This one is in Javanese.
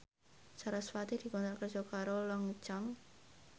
sarasvati dikontrak kerja karo Longchamp